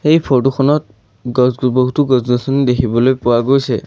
এই ফটো খনত গছ বহুতো গছ-গছনি দেখিবলৈ পোৱা গৈছে।